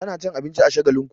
Tana cin abinci a Shagalinku.